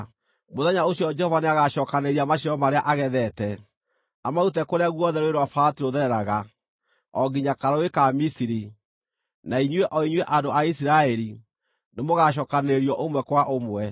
Mũthenya ũcio Jehova nĩagacookanĩrĩria maciaro marĩa agethete, amarute kũrĩa guothe Rũũĩ rwa Farati rũthereraga, o nginya Karũũĩ ka Misiri, na inyuĩ o inyuĩ andũ a Isiraeli, nĩmũgacookanĩrĩrio ũmwe kwa ũmwe.